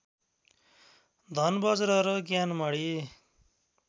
धनबज्र र ज्ञानमणी